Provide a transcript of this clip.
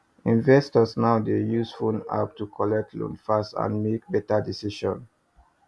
investors now dey use phone app to collect loan fast and make better decision